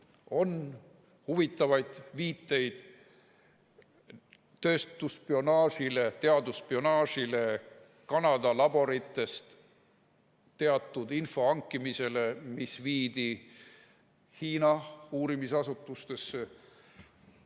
On huvitavaid viiteid tööstusspionaažile, teadusspionaažile, Kanada laboritest teatud info hankimisele, mis viidi Hiina uurimisasutustesse.